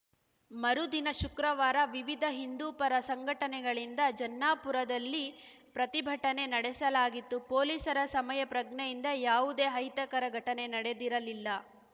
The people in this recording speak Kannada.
ಮರುದಿನ ಶುಕ್ರವಾರ ವಿವಿಧ ಹಿಂದೂಪರ ಸಂಘಟನೆಗಳಿಂದ ಜನ್ನಾಪುರಲ್ಲಿ ಪ್ರತಿಭಟನೆ ನಡೆಸಲಾಗಿತ್ತು ಪೊಲೀಸರ ಸಮಯಪ್ರಜ್ಞೆಯಿಂದ ಯಾವುದೇ ಅಹಿತಕರ ಘಟನೆ ನಡೆದಿರಲಿಲ್ಲ